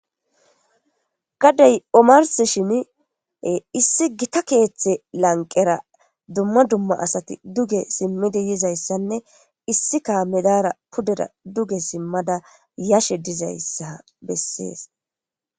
Gadey omars shin issi gita keeththe lanqera dumma dumma asati duge simmidi yizayssanne issika medara pudera duge simmada yashe dizayssa bessees.